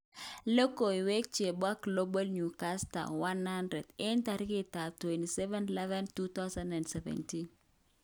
Logoiwek chebo Global Newsbeat 100 27/11/2017.